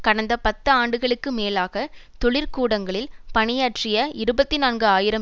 கடந்த பத்து ஆண்டுகளுக்கு மேலாக தொழிற் கூடங்களில் பணியாற்றிய இருபத்தி நான்கு ஆயிரம்